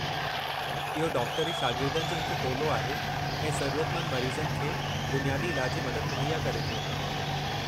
इहो डॉक्टरी शागिर्दनि जो हिकु टोलो आहे ऐं ज़रूरतमन्द मरीज़नि खे बुनियादी इलाजी मदद मुहैया करे थो।